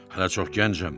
Hələ çox gəncəm.